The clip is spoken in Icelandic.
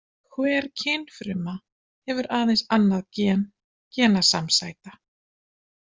Hver kynfruma hefur aðeins annað gen genasamsæta.